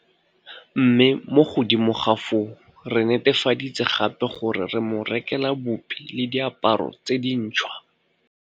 Mme mo godimo ga foo re netefaditse gape gore re mo rekela bupi le diaparo tse dintšhwa.